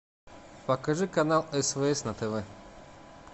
покажи канал свс на тв